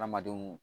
Adamadenw